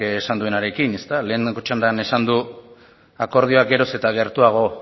esan duenarekin lehenengo txandan esan du akordioaz geroz eta gertuago